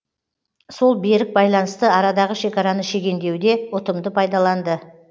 сол берік байланысты арадағы шекараны шегендеуде ұтымды пайдаланды